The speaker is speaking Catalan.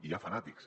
i hi ha fanàtics